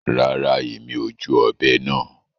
Rárá, Èmi o júù òbé náà